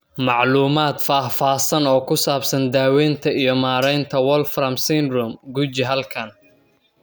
Macluumaad faahfaahsan oo ku saabsan daaweynta iyo maaraynta Wolfram syndrome, guji halkan.